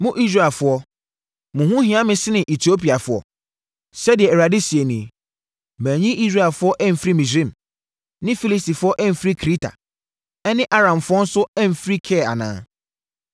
“Mo Israelfoɔ, mo ho hia me sene Etiopiafoɔ?” Sɛdeɛ Awurade seɛ nie. Manyi Israelfoɔ amfiri Misraim, ne Filistifoɔ amfiri Kreta, ɛne Aramfoɔ nso amfiri Kir anaa?